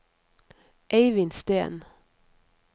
Eivind Steen